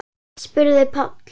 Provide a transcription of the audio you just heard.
spurði Páll.